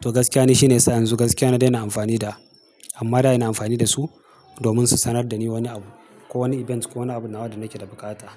To gaskiya ne shine yasa yanzu gaskiya na daina amfani da amma da ina amfani da su domin su sanar da ni wani abu ko wani event ko wani abu nawa da nake da buƙata.